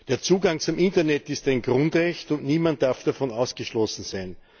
Der Zugang zum Internet ist ein Grundrecht, und niemand darf davon ausgeschlossen sein.